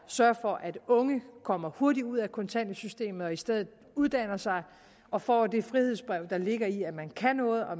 sørge for at unge kommer hurtigt ud af kontanthjælpssystemet og i stedet uddanner sig og får det frihedsbrev der ligger i at man kan noget og